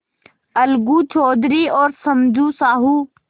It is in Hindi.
अलगू चौधरी और समझू साहु